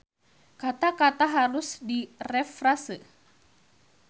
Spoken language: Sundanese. Kata-kata harus direfrase.